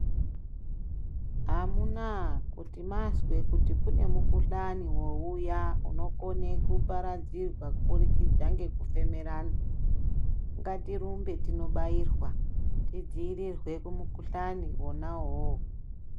Amunaa kuti mazwe kuti kune mukhuhlani wauya unokone kuparadzirwa kubudikidza ngekufemerana ngatirumbe tinobairwa tidziirirwe kumukhuhlani wona uwowo.